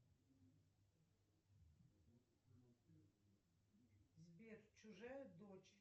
сбер чужая дочь